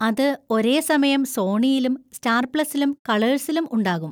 അത് ഒരേസമയം സോണിയിലും സ്റ്റാർ പ്ലസിലും കളേഴ്‌സിലും ഉണ്ടാകും.